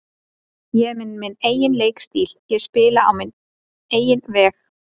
Ég er með minn eigin leikstíl, ég spila á minn eigin veg.